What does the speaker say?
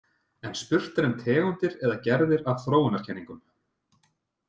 En spurt er um tegundir eða gerðir af þróunarkenningum.